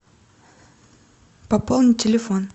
пополни телефон